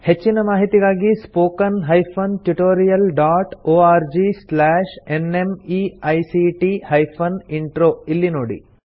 ಹೆಚ್ಚಿನ ಮಾಹಿತಿಗಾಗಿ spoken hyphen tutorial dot org slash NMEICT hyphen intro ಇಲ್ಲಿ ನೋಡಿ